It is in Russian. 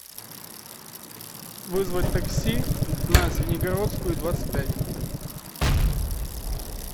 вызвать такси на звенигородскую двадцать пять